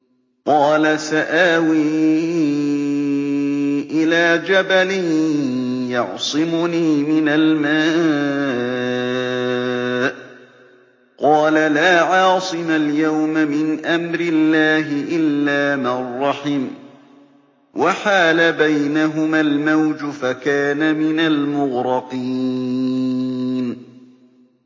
قَالَ سَآوِي إِلَىٰ جَبَلٍ يَعْصِمُنِي مِنَ الْمَاءِ ۚ قَالَ لَا عَاصِمَ الْيَوْمَ مِنْ أَمْرِ اللَّهِ إِلَّا مَن رَّحِمَ ۚ وَحَالَ بَيْنَهُمَا الْمَوْجُ فَكَانَ مِنَ الْمُغْرَقِينَ